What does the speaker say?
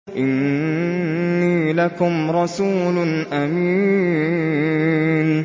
إِنِّي لَكُمْ رَسُولٌ أَمِينٌ